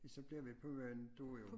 Så bliver på Møn du og jeg